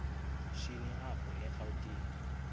shini apho erawutini